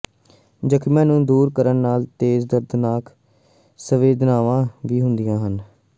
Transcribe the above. ਜ਼ਖਮੀਆਂ ਨੂੰ ਦੂਰ ਕਰਨ ਨਾਲ ਤੇਜ਼ ਦਰਦਨਾਕ ਸੰਵੇਦਨਾਵਾਂ ਵੀ ਹੁੰਦੀਆਂ ਹਨ